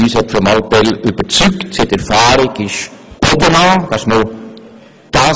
Frau Mallepell hat uns überzeugt, sie hat Erfahrung und Bodenhaftung.